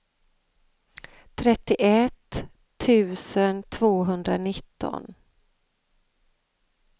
trettioett tusen tvåhundranitton